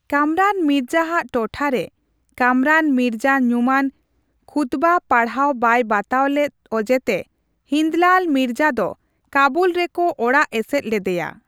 ᱠᱟᱢᱨᱟᱱ ᱢᱤᱨᱡᱟ ᱟᱜ ᱴᱚᱴᱷᱟᱨᱮ, ᱠᱟᱢᱨᱟᱱ ᱢᱤᱨᱡᱟ ᱧᱩᱢᱟᱱ ᱠᱷᱩᱛᱵᱟ ᱯᱟᱲᱦᱟᱣ ᱵᱟᱭ ᱵᱟᱛᱟᱣ ᱞᱮᱫ ᱚᱡᱮᱛᱮ ᱦᱤᱱᱫᱞᱟᱞ ᱢᱤᱨᱡᱟ ᱫᱚ ᱠᱟᱹᱵᱩᱞ ᱨᱮᱠᱚ ᱚᱲᱟᱜ ᱮᱥᱮᱫ ᱞᱮᱫᱮᱭᱟ ᱾